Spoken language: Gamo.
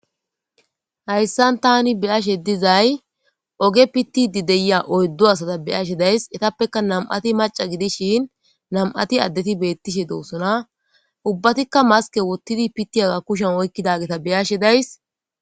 hayssan tani beyashe dizay oge pitidi deya oyddo asata beyashe days etappeka nam7ati maca gidishin nam7ati addeti bettishe doosona ubbatikka maske wottidi pitiyaga kushen oykkidageta beyashe days